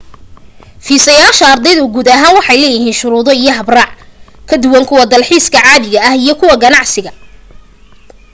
fiisayaasha ardaydu guud ahaan waxay leeyihiin shuruudo iyo habraac ka duwan kuwa dalxiisa caadiga ah iyo kuwa ganacsiga